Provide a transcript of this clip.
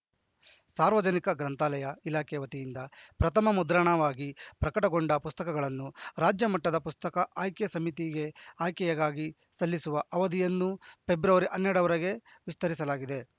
ಸಾರ್ವಜನಿಕ ಗ್ರಂಥಾಲಯ ಇಲಾಖೆ ವತಿಯಿಂದ ಪ್ರಥಮ ಮುದ್ರಣವಾಗಿ ಪ್ರಕಟಗೊಂಡ ಪುಸ್ತಕಗಳನ್ನು ರಾಜ್ಯ ಮಟ್ಟದ ಪುಸ್ತಕ ಆಯ್ಕೆ ಸಮಿತಿಗೆ ಆಯ್ಕೆಗಾಗಿ ಸಲ್ಲಿಸುವ ಅವಧಿಯನ್ನು ಫೆಬ್ರವರಿ ಹನ್ನೆರಡರವರೆಗೆ ವಿಸ್ತರಿಸಲಾಗಿದೆ